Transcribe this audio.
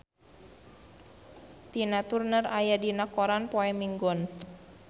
Tina Turner aya dina koran poe Minggon